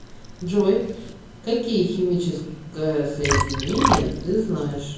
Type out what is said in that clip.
джой какие химическое соединение ты знаешь